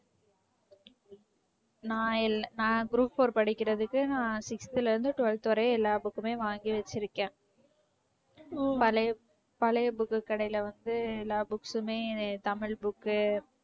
நான் இல்ல~ நான் group four படிக்கிறதுக்கு நான் sixth ல இருந்து twelfth வரையும் எல்லா book மே வாங்கி வச்சிருக்கேன் பழைய பழைய book கடையில வந்து எல்லா books மே tamil book உ